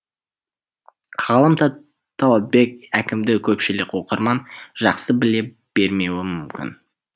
ғалым талатбек әкімді көпшілік оқырман жақсы біле бермеуі мүмкін